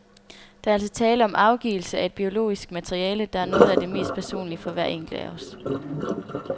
Der er altså tale om afgivelse af et biologisk materiale, der er noget af det mest personlige for hver enkelt af os.